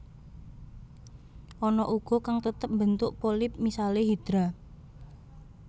Ana uga kang tetep mbentuk polip misalé Hydra